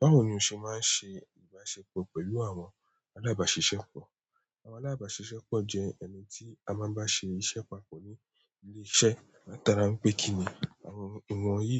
Báwo ni o ṣe máa ń ṣe ìbáṣepọ̀ pẹ̀lú àwọn alábàáṣìṣẹ́ pọ̀? Àwọn alábàáṣìṣẹ́ pọ̀ jẹ́ ẹni tí a máa ń bá ṣe iṣẹ́ papọ̀ ní ilé iṣẹ́. Látara n pé kí ni àwọn ìwọ̀nyí